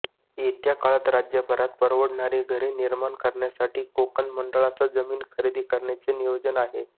येत्या काळात राज्यभरात परवडणारी घरे निर्माण करण्यासाठी कोकण मंडळाचा जमीन खरेदी करण्याचे नियोजन आहे